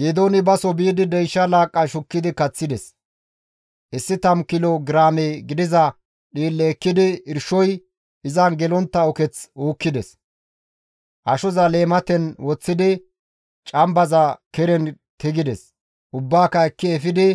Geedooni baso biidi deysha laaqqa shukkidi kaththides; issi tammu kilo giraame gidiza dhiille ekkidi irshoy izan gelontta uketh uukkides; ashoza leematen woththidi cambaza keren tigides; ubbaaka ekki efidi